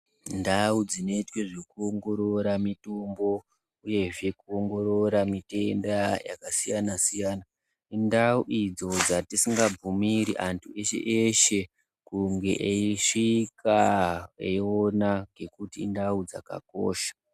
Ndau dzinoitwa zvekuongorora mutombo nekuwongorora zvitenda zvakasiya siyana indau idzo dzatisingabvumiri antu eshe eshe kunge eyisvika eyiona ngekuti indau dzakakosha.